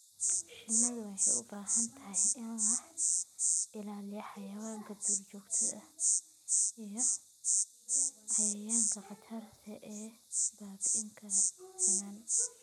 Shinnidu waxay u baahan tahay in laga ilaaliyo xayawaanka duurjoogta ah iyo cayayaanka khatarta ah ee baabi'in kara finan.